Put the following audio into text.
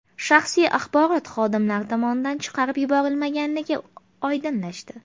Shaxsiy axborot xodimlar tomonidan chiqarib yuborilmaganligi oydinlashdi.